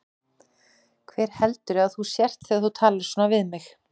Hver heldurðu að þú sért þegar þú talar svona við mig?